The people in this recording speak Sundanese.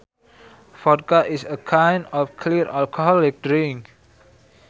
Vodka is a kind of clear alcoholic drink